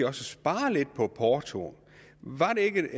at spare lidt på portoen var det ikke